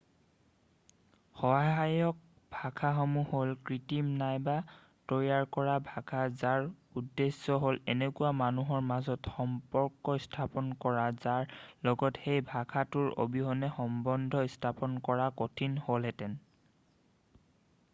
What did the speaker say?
সহায়ক ভাষাসমূহ হ'ল কৃত্ৰিম নাইবা তৈয়াৰ কৰা ভাষা যাৰ উদ্দেশ্য হ'ল এনেকুৱা মানুহৰ মাজত সম্পৰ্ক স্থাপন কৰা যাৰ লগত সেই ভাষাটোৰ অবিহনে সম্বন্ধ স্থাপন কৰা কঠিন হ'লহেঁতেন